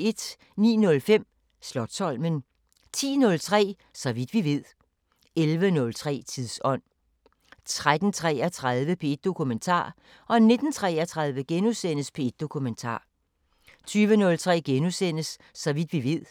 09:05: Slotsholmen 10:03: Så vidt vi ved 11:03: Tidsånd 13:33: P1 Dokumentar 19:33: P1 Dokumentar * 20:03: Så vidt vi ved